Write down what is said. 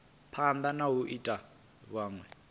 phanda na u ita vhunwe